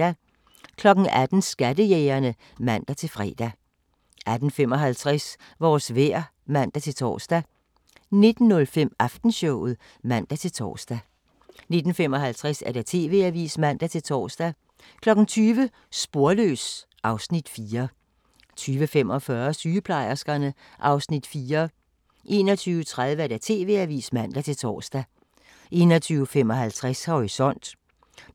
18:00: Skattejægerne (man-fre) 18:55: Vores vejr (man-tor) 19:05: Aftenshowet (man-tor) 19:55: TV-avisen (man-tor) 20:00: Sporløs (Afs. 4) 20:45: Sygeplejerskerne (Afs. 4) 21:30: TV-avisen (man-tor) 21:55: Horisont